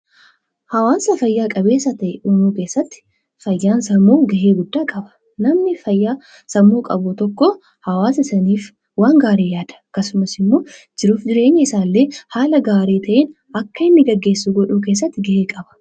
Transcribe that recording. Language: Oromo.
Hawaasa fayyaa qabeessa uumuu keessatti fayyaan sammuu baay'ee murteessaadha. Namni sammuu fayyaa qabu tokko hawaasa saniif waan gaarii yaada. Akkasumas immoo jireenya mataa isaa gaggeessuu keessatti gahee guddaa qaba.